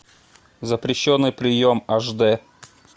запрещенный прием аш дэ